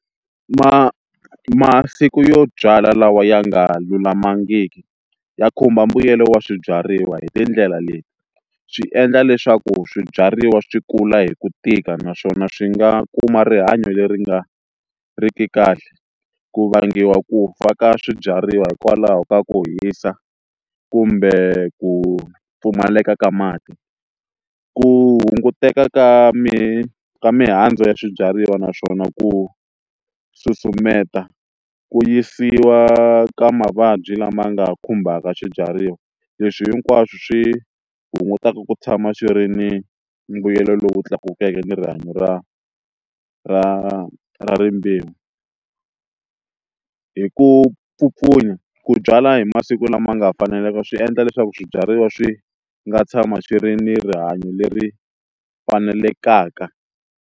masiku yo byala lawa ya nga lulamangiki ya khumba mbuyelo wa swibyariwa hi tindlela leti swi endla leswaku swibyariwa swi kula hi ku tika naswona swi nga kuma rihanyo leri nga ri ki kahle ku vangiwa ku fa ka swibyariwa hikwalaho ka ku hisa kumbe ku pfumaleka ka mati ku hunguteka ka ka mihandzu ya swibyariwa naswona ku susumeta ku yisiwa ka mavabyi lama nga khumbaka swibyariwa leswi hinkwaswo swi hungutaka ku tshama swi ri ni mbuyelo lowu tlakukeke ni rihanyo ra ra ra ra rimbewu hi ku pfupfunya ku byala hi masiku lama nga faneleka swi endla leswaku swibyariwa swi nga tshama swi ri ni rihanyo leri fanelekaka.